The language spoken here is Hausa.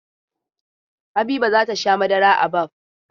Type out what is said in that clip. Habiba za ta sha madara a Baff.